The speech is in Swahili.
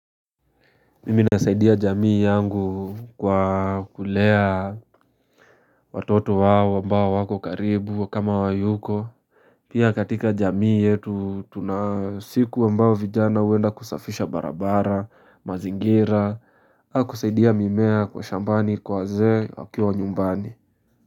Mimi nasaidia jamii yangu kwa kulea watoto wao ambao wako karibu kama hawa yuko Pia katika jamii yetu tunasiku ambao vijana huenda kusafisha barabara mazingira haa kusaidia mimea kwa shambani kwa wazee wakiwa nyumbani.